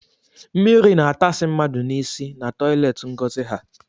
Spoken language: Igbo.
Mmiri na atasị mmadụ n’isi na toileti Ngozi ha